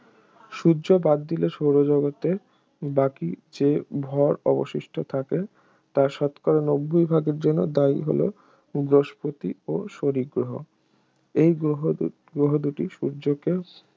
সূর্য বাদ দিলে সৌর জগতের বাকি যে ভর অবশিষ্ট থাকে তার শতকরা নব্বই ভাগের জন্য দায়ী হল বৃহস্পতি এবং শনি গ্রহ এই গ্রহ দু এই গ্রহ দুটি সূর্যকে